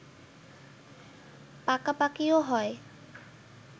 পাকাপাকিও হয়